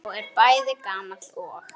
Sá er bæði gamall og.